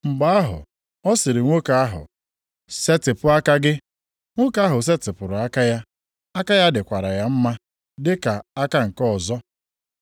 Mgbe ahụ ọ sịrị nwoke ahụ, “Setịpụ aka gị.” Nwoke ahụ setịpụrụ aka ya. Aka ahụ dịkwara ya mma dị ka aka nke ọzọ.